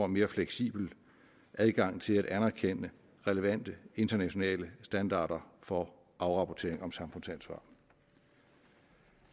mere fleksibel adgang til at anerkende relevante internationale standarder for afrapportering om samfundsansvar